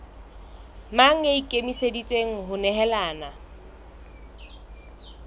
mang ya ikemiseditseng ho nehelana